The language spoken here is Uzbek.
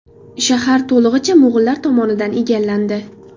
Shahar to‘lig‘icha mo‘g‘ullar tomonidan egallandi.